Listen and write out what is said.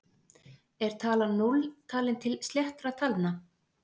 Er talan núll talin til sléttra talna?